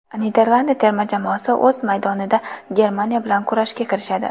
Niderlandiya terma jamoasi o‘z maydonida Germaniya bilan kurashga kirishadi.